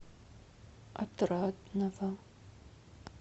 отрадного